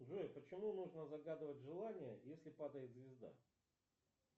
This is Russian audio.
джой почему нужно загадывать желание если падает звезда